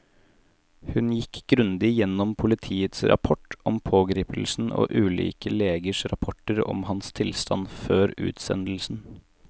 Hun gikk grundig gjennom politiets rapport om pågripelsen og ulike legers rapporter om hans tilstand før utsendelsen.